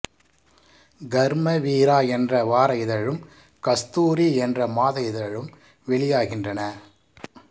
கர்மவீரா என்ற வார இதழும் கஸ்தூரி என்ற மாத இதழும் வெளியாகின்றன